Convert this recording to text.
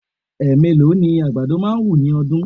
Ẹ̀ẹmélòó ni àgbào ń hù ní ọdún?